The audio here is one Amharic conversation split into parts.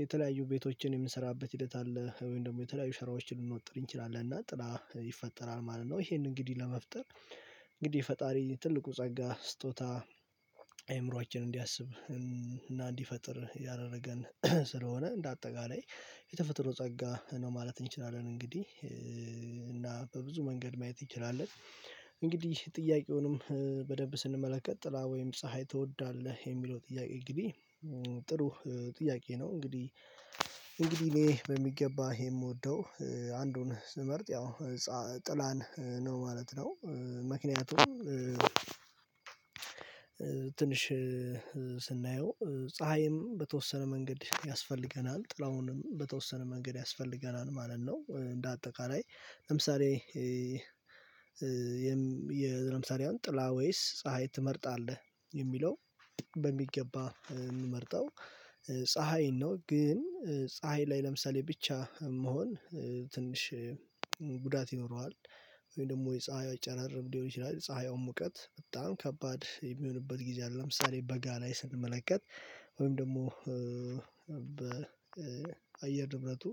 የተለያዩ ቤቶችን የምንሰራበት ሂደት አለ ወይም ደግሞ የተለያዩ ሸራዎችን ልንወጥር እንችላለን እና ጥላ ይፈጠራል ማለት ነው። ይሄንን እንግዲህ ለመፍጠር እንግዲህ ፈጣሪ ትልቁ ጸጋ ስጦታ አይምሮአችን እንዲያስብ እና እንዲፈጥር ያደረገን ስለሆነ እንደ አጠቃላይ የተፈጥሮ ጸጋ ነው ማለት እንችላለን። እንግዲህ እና በብዙ መንገድ ማየት ይችላል። እንግዲህ ጥያቄውንም በደንብ ስንመለከት ጥላ ወይም ፀሀይ ትወዳለህ የሚለው ጥያቄ እንግዲህ ጥሩ ጥያቄ ነው። እንግዲህ እንግዲህ እኔ በሚገባ ይሄ የምወደው አንዱን ስመርጥ ያው ጥላን ነው ማለት ነው። ምክንያቱም ትንሽ ስናየው ፀሀይም በተወሰነ መንገድ ያስፈልገናል ጥላሁንም በተወሰነ መንገድ ያስፈልገናል ማለት ነው። እንደ አጠቃላይ ለምሳሌ የለምሳሌ አሁን ጥላ ወይስ ፀሀይ ትመርጣለህ የሚለው በሚገባ እምመርጠው ፀሀይን ነው ግን ፀሀይ ላይ ለምሳሌ ብቻ መሆን ትንሽ ጉዳት ይኖረዋል። ወይም ደግሞ የፀሀይ ጨራርም ሊሆን ይችላል የፀሀያ ሙቀት በጣም ከባድ የሚሆንበት ጊዜ አለ ለምሳሌ በጋ ላይ ስንመለከት ወይም ደግሞ በአየር ንብረቱ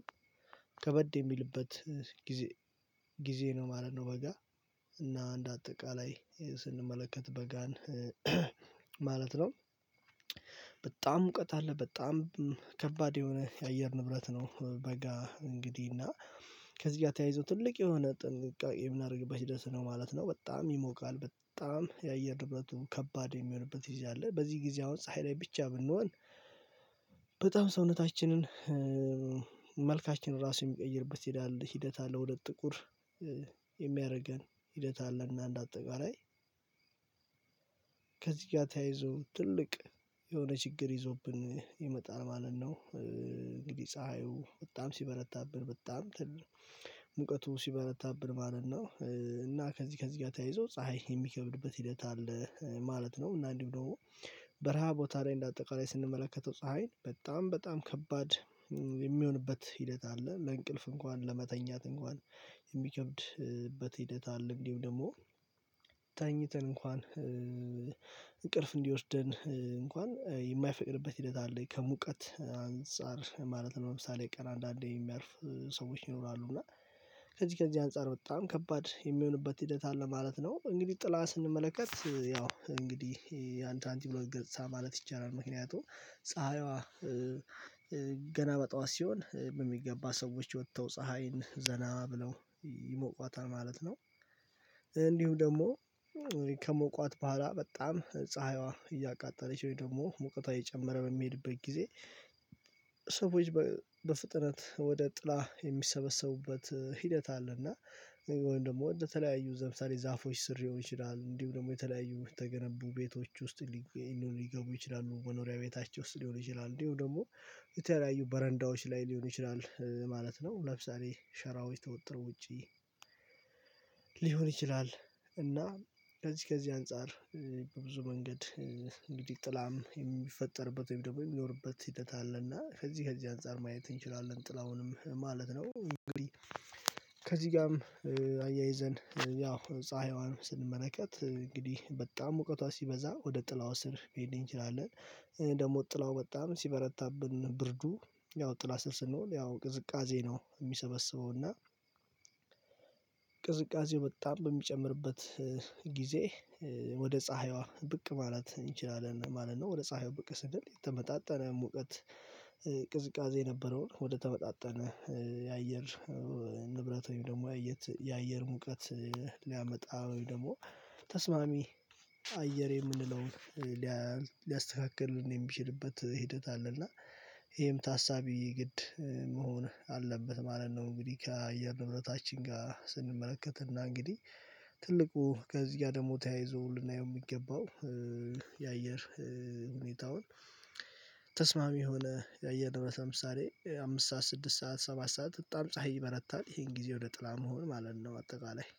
ከበድ የሚልበት ጊዜ ጊዜ ነው ማለት ነው። በጋ እና አንድ አጠቃላይ ስንመለከት በጋን ማለት ነው። በጣም ሙቀት አለ በጣም ከባድ የሆነ የአየር ንብረት ነው። በጋ እንግዲህ እና ከዚህ ጋር ተያይዞ ትልቅ የሆነ ጥንቃቄ የምናደርግበት ሂደት ነው ማለት ነው። በጣም ይሞቃል በጣም የአየር ንብረቱ ከባድ የሚሆንበት ጊዜ አለ በዚህ ጊዜ አሁን ፀሀይ ላይ ብቻ ብንሆን በጣም ሰውነታችንን መልካችንን ራሱ የሚቀይርበት ይሄዳል ሂደት አለው። ወደ ጥቁር የሚያደርገን ሂደት አለ እና አንድ አጠቃላይ ከዚህ ጋር ተያይዞ ትልቅ የሆነ ችግር ይዞብን ይመጣል ማለት ነው። እንግዲህ ፀሀዩ በጣም ሲበረታብን በጣም ሙቀቱ ሲበረታብን ማለት ነው እና ከዚህ ከዚህ ጋር ተያይዞ ፀሀይ የሚከብድበት ሂደት አለ ማለት ነው። እና እንዲሁ ደግሞ በረሃ ቦታ ላይ እንደ አጠቃላይ ስንመለከተው ፀሀይን በጣም በጣም ከባድ የሚሆንበት ሂደት አለ ለእንቅልፍ እንኳን ለመተኛት እንኳን የሚከብድበት ሂደት አለ። እንዲሁም ደግሞ ተኝተን እንኳን እንቅልፍ እንዲወስደን እንኳን የማይፈቅድበት ሂደት አለ ከሙቀት አንፃር ማለት ነው። ለምሳሌ ቀን አንዳንዴ የሚያርፍ ሰዎች ይኖራሉ እና ከዚህ ከዚህ አንፃር በጣም ከባድ የሚሆንበት ሂደት አለ ማለት ነው። እንግዲህ ጥላ ስንመለከት ያው እንግዲህ የ አንድ ሳንቲም ሁለት ገጽታ ማለት ይቻላል። ምክንያቱም ፀሀይዋ ገና በጧት ሲሆን በሚገባ ሰዎች ወጥተው ፀሀይን ዘና ብለው ይሞቋታል ማለት ነው። እንዲሁ ደግሞ ከሞቋት በኋላ በጣም ፀሀይዋ እያቃጠለች ወይ ደግሞ ሙቀቷ እየጨመረ በሚሄድበት ጊዜ ሰዎች በፍጥነት ወደ ጥላ የሚሰበሰቡበት ሂደት አለና ወይም ደግሞ በተለያዩ ዛፎች ስር ሊሆን ይችላል። እንዲሁ ደግሞ የተለያዩ የተገነቡ ቤቶች ውስጥ ሊገቡ ይችላሉ መኖሪያ ቤታቸው ውስጥ ሊሆን ይችላል እንዲሁ ደግሞ የተለያዩ በረንዳዎች ላይ ሊሆን ይችላል ማለት ነው። ለምሳሌ ሸራዎች ተወጥሮ ውጪ ሊሆን ይችላል። እና ከዚህ ከዚህ አንፃር በብዙ መንገድ እንግዲህ ጥላም የሚፈጠርበት ወይም ደግሞ የሚኖርበት ሂደት አለና ከዚህ ከዚህ አንፃር ማየት እንችላለን ጥላሁንም ማለት ነው። እንግዲህ ከዚህ ጋርም አያይዘን ያው ፀሀይዋን ስንመለከት እንግዲህ በጣም ሙውቀቷ ሲበዛ ወደ ጥላው ስር ልሄድ እንችላለን። ደግሞ ጥላው በጣም ሲበረታብን ብርዱ ያው ጥላ ስር ስንሆን ያው ቅዝቃዜ ነው የሚሰበስበው እና ቅዝቃዜው በጣም በሚጨምርበት ጊዜ ወደ ፀሀይዋ ብቅ ማለት እንችላለን ማለት ነው። ወደ ፀሀይዋ ብቅ ስንል የተመጣጠነ ሙቀት ቅዝቃዜ የነበረውን ወደ ተመጣጣነ የአየር ንብረት ወይም ደግሞ የአየር ሙቀት ሊያመጣ ወይ ደግሞ ተስማሚ አየር የምንለውን ሊያስተካክል የሚችልበት ሂደት አለ። እና ይሄም ታሳቢ ግድ መሆን አለበት ማለት ነው። እንግዲህ ከአየር ንብረታችን ጋር ስንመለከትና እንግዲህ ትልቁ ከዚህ ጋር ደግሞ ተያይዞ ልናየው የሚገባው የአየር ሁኔታውን ተስማሚ የሆነ የአየር ንብረት ለምሳሌ አምስት ሰዓት ስድስት ሰዓት ሰባት ሰዓት በጣም ፀሀይ ይበረታል ይሄን ጊዜ ወደ ጥላ መሆን ማለት ነው። አጠቃላይ